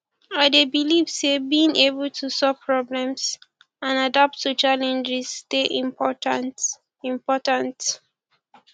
i dey believe say being able to solve problems and adapt to challenges dey important important